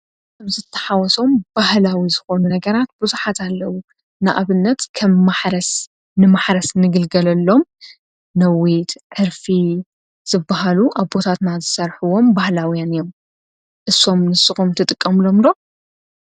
ዘተሓወሶም ባህላዊ ዝኾኑ ነገራት ብዙሓት ኣለዉ ንኣብነት ከም ማረስ ንማሕረስ ንግልገለሎም ነዊድ ዕርፊ ዘበሃሉ ኣቦታትና ዝሠርሕዎም ባህላውያን እዮም እሶም ንስኾም ትጥቀምሎምሎ?